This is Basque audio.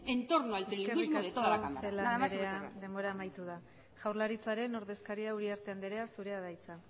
entorno al trilingüismo de toda cámara nada más y muchas gracias eskerrik asko celaá andrea denbora amaitu da jaurlaritzaren ordezkaria uriarte andrea zurea da hitza